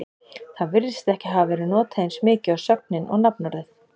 það virðist ekki hafa verið notað eins mikið og sögnin og nafnorðið